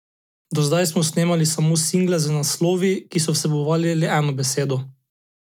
Do zdaj smo snemali samo single z naslovi, ki so vsebovali le eno besedo.